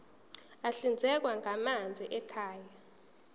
ahlinzekwa ngamanzi ekhaya